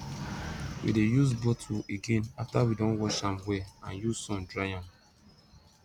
we de use bottle again after we don wash am well and use sun dry am